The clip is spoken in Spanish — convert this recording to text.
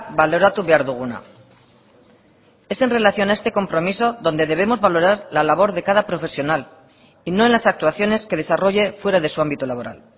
baloratu behar duguna es en relación a este compromiso donde debemos valorar la labor de cada profesional y no en las actuaciones que desarrolle fuera de su ámbito laboral